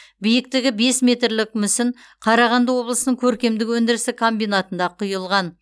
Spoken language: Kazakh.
биіктігі бес метрлік мүсін қарағанды облысының көркемдік өндірістік комбинатында құйылған